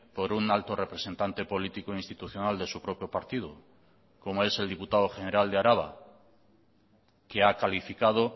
por un alto representante político institucional de su propio partido como es el diputado general de araba que ha calificado